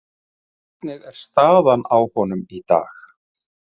Hvernig er staðan á honum í dag?